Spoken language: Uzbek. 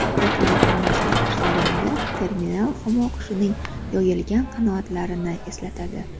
Yuqoridan nazar tashlaganda terminal humo qushining yoyilgan qanotlarini eslatadi.